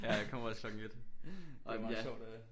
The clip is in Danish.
Ja jeg kommer også klokken 1 det er meget sjovt at